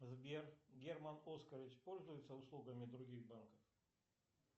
сбер герман оскарович пользуется услугами других банков